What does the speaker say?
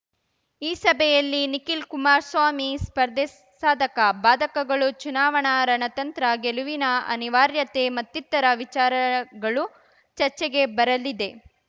ಈ ಸಭೆಯಲ್ಲಿ ನಿಖಿಲ್‌ ಕುಮಾರಸ್ವಾಮಿ ಸ್ಪರ್ಧೆ ಸಾಧಕ ಬಾಧಕಗಳು ಚುನಾವಣಾ ರಣತಂತ್ರ ಗೆಲುವಿನ ಅನಿವಾರ್ಯತೆ ಮತ್ತಿತರ ವಿಚಾರಗಳು ಚರ್ಚೆಗೆ ಬರಲಿದೆ